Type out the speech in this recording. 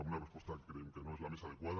amb una resposta que creiem que no és la més adequada